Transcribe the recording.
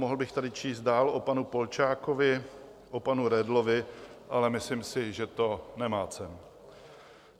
Mohl bych tady číst dál o panu Polčákovi, o panu Redlovi, ale myslím si, že to nemá cenu.